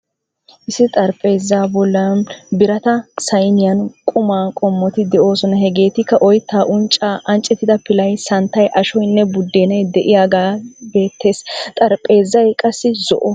Issi xarpheezaa bollan birata sayniyan qumma qommoti de'oosona, hageetikka oyttaa, unccaa, anccettida pilay, santtay, ashoynne buddenay de'iyagee beettees, xarphpheezay qassi zo"o.